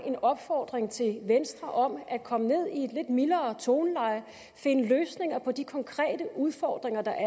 en opfordring til venstre om at komme ned i et lidt mildere toneleje finde løsninger på de konkrete udfordringer der